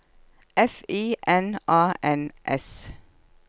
F I N A N S